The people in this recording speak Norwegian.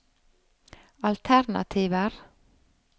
alternativer